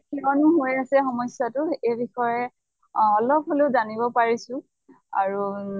কিয়্নো হৈ আছে সমস্য়াটো এই বিষয়ে আহ অলপ হলেও জানব পাৰিছো। আৰু